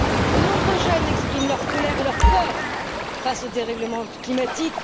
De nombreux jeunes expriment leur colère et leur peur face au dérèglement climatique.